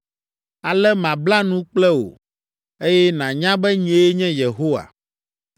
Ale mabla nu kple wò, eye nànya be nyee nye Yehowa.